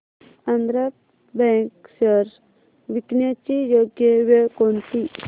Andhra bank shares विकण्याची योग्य वेळ कोणती